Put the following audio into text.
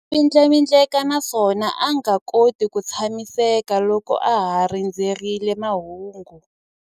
A vindlavindleka naswona a nga koti ku tshamiseka loko a ha rindzerile mahungu.